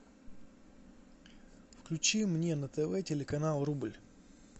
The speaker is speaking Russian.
включи мне на тв телеканал рубль